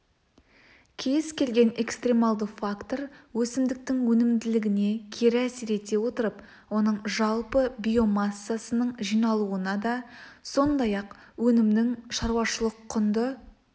кез-келген экстремалды фактор өсімдіктің өнімділігіне кері әсер ете отырып оның жалпы биомассасының жиналуына да сондай-ақ өнімнің шаруашылық құнды